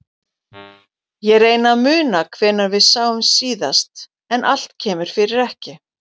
Ég reyni að muna hvenær við sáumst síðast en allt kemur fyrir ekki.